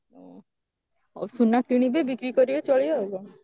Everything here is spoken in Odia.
ସୁନା କିଣିବେ ବିକ୍ରି କରିବେ ଚଳିବେ ଆଉ କଣ